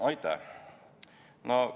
Aitäh!